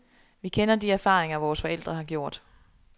Vi kender de erfaringer, vores forældre har gjort.